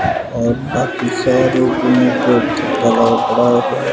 और बाकी सारे रूमों पे तो पड़ा है सारा।